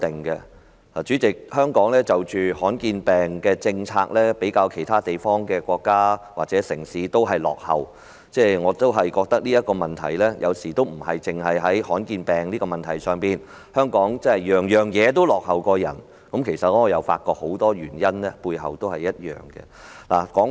代理主席，在罕見疾病的政策方面，香港比其他國家或城市落後，我認為這問題有時候不單見諸於罕見疾病上，香港凡事皆比其他國家落後，我發覺有很多原因是相同的。